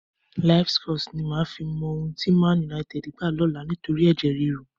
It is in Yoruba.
Livescores ni màá fi mọ ohun tí Man Utd gbá lọ́la nítorí ẹ̀jẹ̀ ríru.